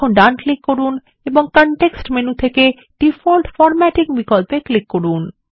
এখন ডান ক্লিক করুন এবং কনটেক্সট মেনু থেকে ডিফল্ট ফরম্যাটিং বিকল্পে ক্লিক করুন